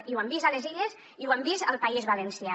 i ho hem vist a les illes i ho hem vist al país valencià